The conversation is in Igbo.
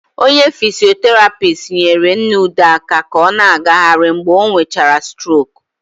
Onye fisioterapist nyere Nna Ude aka ka ọ na-agaghịrị mgbe ọ nwechara stroku.